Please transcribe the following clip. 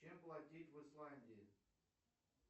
чем платить в исландии